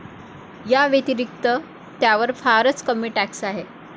याव्यतिरिक्त, त्यावर फारच कमी टॅक्स आहे.